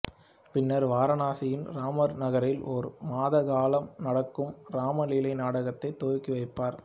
பின்னர் வாரணாசியின் ராம்நகரில் ஒரு மாத காலம் நடக்கும் ராம்லீலா நாடகத்தை துவக்கி வைப்பார்